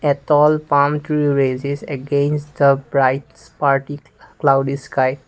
a tall palm tree raises against the bright cloudy sky.